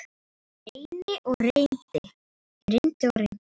Ég reyndi og reyndi.